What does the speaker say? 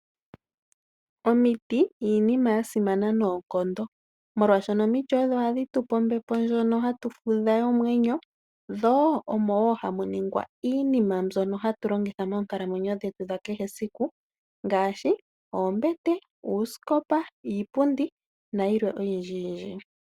Omiti iinima ya simana noonkondo . Molwaashono omiti odho hadhi tupe ombepo ndjono hatu fudha yomwenyo. Dho omo ngaa hamu ningwa iinima mbyono hatu longitha moonkalamwenyo dhetu dha kehe esiku. Ngaashi oombete, uusikopa, iipundi na yilwe oyindji.